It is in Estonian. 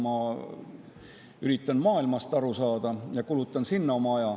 Ma üritan maailmast aru saada ja kulutan oma aja sellele.